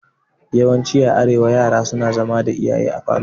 Yawanci a arewa yara suna zama da iyaye a falo.